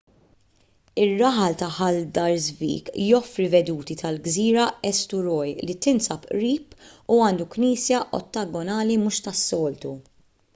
ir-raħal ta' haldarsvik joffri veduti tal-gżira eysturoy li tinsab qrib u għandu knisja ottagonali mhux tas-soltu